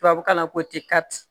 Tubabukan na ko